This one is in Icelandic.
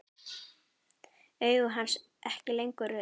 Augu hans ekki lengur rauð.